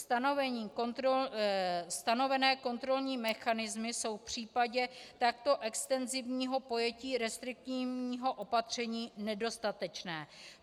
Stanovené kontrolní mechanismy jsou v případě takto extenzivního pojetí restriktivního opatření nedostatečné.